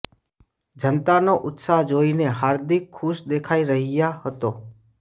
જનતાનો ઉત્સાહ જોઈને હાર્દિક ખુશ દેખાઈ રહ્યા હતો